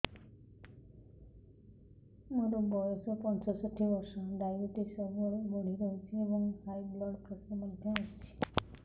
ମୋର ବୟସ ପଞ୍ଚଷଠି ବର୍ଷ ଡାଏବେଟିସ ସବୁବେଳେ ବଢି ରହୁଛି ଏବଂ ହାଇ ବ୍ଲଡ଼ ପ୍ରେସର ମଧ୍ୟ ଅଛି